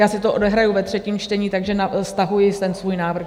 Já si to odehraji ve třetím čtení, takže stahuji ten svůj návrh.